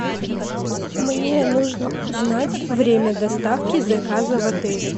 мне нужно узнать время доставки заказа в отеле